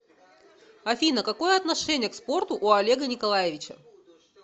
афина какое отношение к спорту у олега николаевича